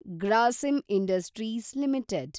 Grasim Industries limited